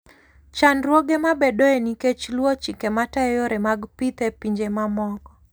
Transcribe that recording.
Chandruoge mabedoe nikech luwo chike matayo yore mag pith e pinje mamoko.